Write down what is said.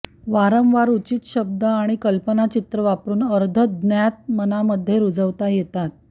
वारंवार उचित शब्द आणि कल्पनाचित्रं वापरून अर्धज्ञात मनामध्ये रुजवता येतात